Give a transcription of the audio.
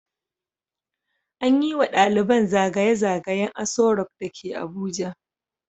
An yi wa daliban zagayen zagayen Aso rock da ke Abuja.